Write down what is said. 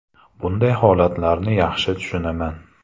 Bunday holatlarni yaxshi tushunaman.